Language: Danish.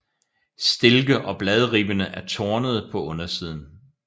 Stilke og bladribberne er tornede på undersiden